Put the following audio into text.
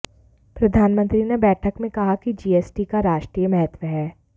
प्रधानमंत्री ने बैठक में कहा कि जीएसटी का राष्ट्रीय महत्व है